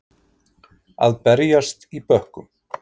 Að berjast í bökkum